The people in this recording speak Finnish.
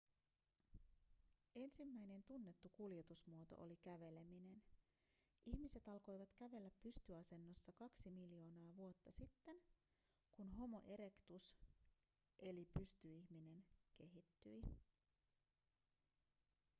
ensimmäinen tunnettu kuljetusmuoto oli käveleminen. ihmiset alkoivat kävellä pystyasennossa kaksi miljoonaa vuotta sitten kun homo erectus eli pystyihminen kehittyi